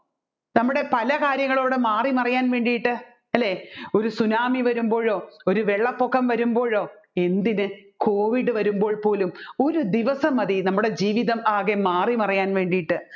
നമ്മുടെ പല കാര്യങ്ങളവിടെ മാറിമാറിയാൻ വേണ്ടിയിട്ട് അല്ലെ ഒരു സുനാമി വരുമ്പോയോ ഒരു വെള്ളംപൊക്കം വരുമ്പോളോ എന്തിന് COVID വരുമ്പോൾ പോലും ഒരു ദിവസം മതി നമ്മുടെ ജീവിതം ആകെ മാറിമറിയാൻ വേണ്ടിയിട്ട്